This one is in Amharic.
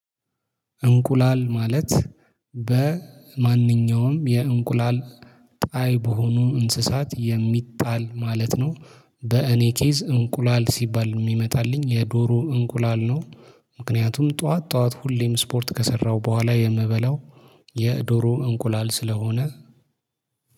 እንቁላል ማለት በማንኛውም የእንቁላል ጣይ በሆኑ እንስሳት የሚጣል ማለት ነው። በእኔ ኬዝ እንቁላል ሲባል የሚመጣልኝ የዶሮ እንቁላል ነው። ምክንያቱም ጠዋት ጠዋት ሁሌም ስፖርት ከሰራው በኋላ የምበላው የዶሮ እንቁላል ስለሆነ